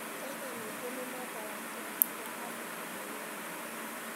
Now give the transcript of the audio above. Kenya ningĩ nĩ memba wa Kĩama kĩa African Union.